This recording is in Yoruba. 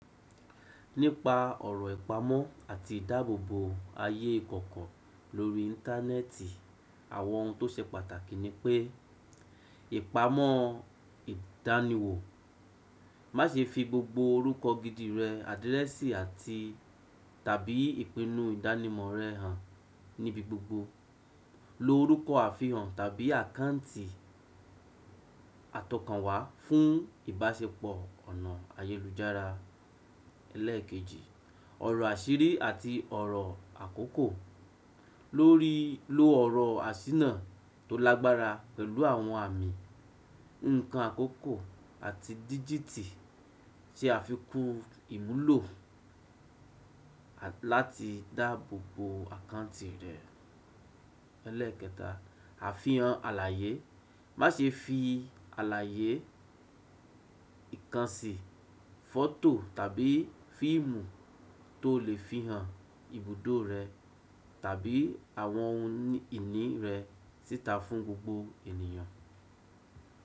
Nípa ọ̀rọ̀ ìpamọ́ àti ìdábòbò ayé ìkọ̀kọ̀ lórí Íńtánẹ́ẹ̀tì, àwọn ohun tó ṣe pàtàkì ni pé, ìpamọ́ ìdániwò, má se fi gbogbo orúkọ gidi rẹ àdírẹ́sì àti tàbí ìpinu ìdánimọ̀ rẹ hàn ní ibi gbogbo. Lo orúkọ àfihàn tàbí àkáǹtì àtọkànwá fun ìbáṣepọ̀ ọ̀nà ayélu lujára, ẹlẹ́ẹ̀kejì, lóríi lo ọ̀rọ̀ àṣínà tó lágbára pẹ̀lú àwọn àmì, ǹkan àkókò àti dígítì se àfikún ìmúlò láti dáàbòbò àkáǹtì rẹ. Àfihàn àlàyé, má ṣe fi àlàyé, ìkànṣí, fọ́tò tàbí fíìmù tó lè fihàn ibùdó rẹ tàbí àwọn ohun ìní rẹ síta fún gbogbo ènìyàn.